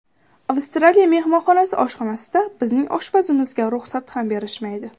Avstraliya mehmonxonasi oshxonasida bizning oshpazimizga ruxsat ham berishmaydi.